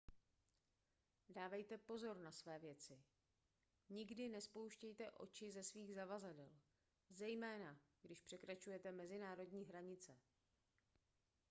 dávejte pozor na své věci nikdy nespouštějte oči ze svých zavazadel zejména když překračujete mezinárodní hranice